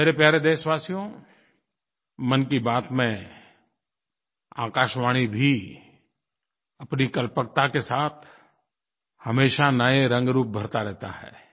मेरे प्यारे देशवासियो मन की बात में आकाशवाणी भी अपनी कल्पकता के साथ हमेशा नये रंगरूप भरता रहता है